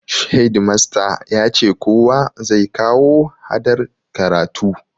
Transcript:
Hedimasta yace kowa zai kawo hadar karatu